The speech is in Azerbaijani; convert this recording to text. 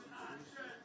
Deməli.